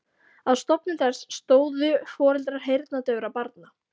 Að stofnun þess stóðu foreldrar heyrnardaufra barna.